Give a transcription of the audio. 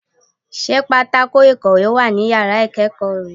Sé pátákó ìkòwé wà ní yàrá ìkéèkó re